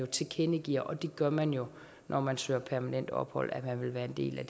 tilkendegiver og det gør man jo når man søger permanent ophold at man vil være en del af